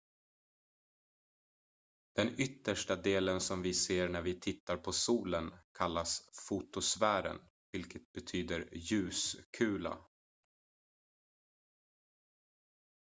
"den yttersta delen som vi ser när vi tittar på solen kallas fotosfären vilket betyder "ljuskula"".